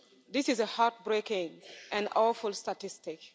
This is a heartbreaking and awful statistic.